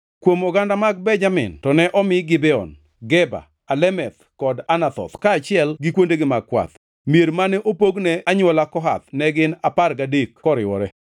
Kuom oganda mag Benjamin to ne omi Gibeon, Geba, Alemeth kod Anathoth, kaachiel gi kuondegi mag kwath. Mier mane opog ne anywola Kohath ne gin apar gadek koriwore.